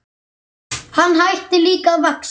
Hann hætti líka að vaxa.